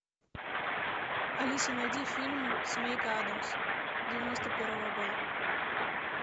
алиса найди фильм семейка аддамс девяносто первого года